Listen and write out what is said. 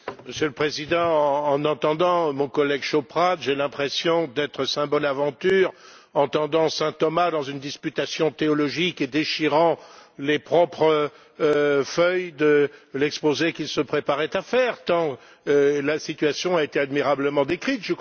Monsieur le Président, en entendant mon collègue Chauprade, j'ai l'impression d'être Saint Bonaventure entendant Saint Thomas dans une disputation théologique et déchirant les propres feuilles de l'exposé qu'il se préparait à faire, tant la situation a été admirablement décrite.